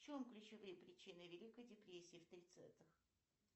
в чем ключевые причины великой депрессии в тридцатых